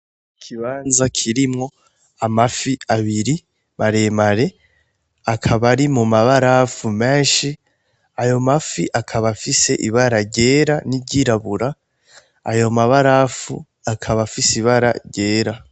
Ikibanza kirimwo amafi abiri maremare akaba ari mu mabarafu menshi, ayo mafi akaba afise ibara ryera n'iryirabura, ayo mabarafu akaba afise ibara ryera.